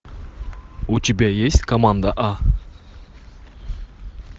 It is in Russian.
у тебя есть команда а